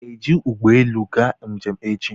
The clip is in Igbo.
Ị ga-eji ụgbọelu aga njem echi?